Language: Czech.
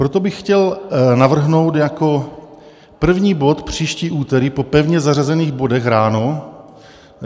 Proto bych chtěl navrhnout jako první bod příští úterý po pevně zařazených bodech ráno.